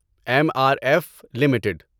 M R F limited